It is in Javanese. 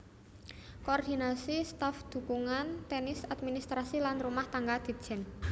Koordinasi staf dhukungan tenis administrasi lan rumah tangga Ditjen